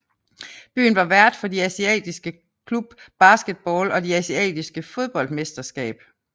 Byen var vært for de asiatiske Club basketball og de asiatiske fodboldmesterskab